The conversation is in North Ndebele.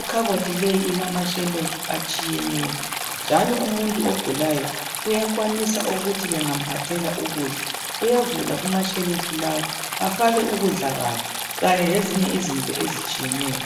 ikhabothi leyi ilamashelufu atshiyeneyo njalo umuntu ogulayo uyakwanisa ukuthi bengamphathela ukudla uyavula kumashelufu lawa afake ukudla kwakhe kanye lezinye izinto ezitshiyeneyo.